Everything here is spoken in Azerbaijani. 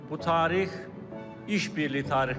Bu tarix iş birliyi tarixidir.